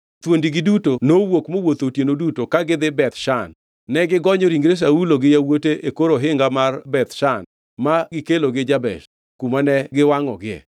thuondigi duto nowuok mowuotho otieno duto ka gidhi Beth Shan. Negigonyo ringre Saulo gi yawuote e kor ohinga mar Beth Shan ma negikelogi Jabesh, kuma ne giwangʼogie.